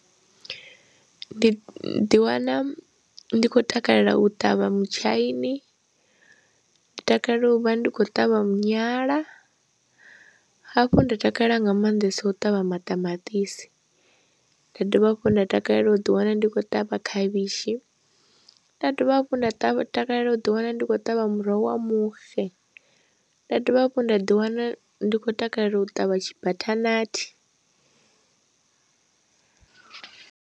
Ndi ḓiwana ndi khou takalela u ṱavha mutshaini, ndi takalela u vha ndi khou ṱavha munyanya, hafhu nda takalela nga maanḓesa u ṱavha maṱamaṱisi, nda dovha hafhu nda takalela u ḓiwana ndi khou ṱavha khavhishi, nda dovha hafhu nda takalela u ḓiwana ndi khou ṱavha muroho wa muxe, nda dovha hafhu nda ḓiwana ndi khou takalela u ṱavha tshibathanathi.